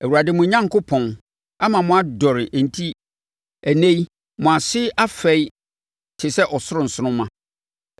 Awurade, mo Onyankopɔn, ama moadɔre enti ɛnnɛ yi, mo ase afɛe te sɛ ɔsoro nsoromma.